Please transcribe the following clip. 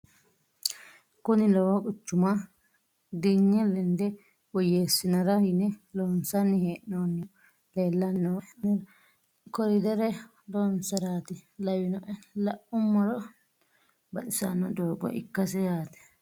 kuni lowo quchuma diinge lende woyyeessinara yine loonsanni hee'noonnihu leellanni nooe anera koridere loonsaraati lawinoe la'ummoro baxissanno doogo ikkase yaate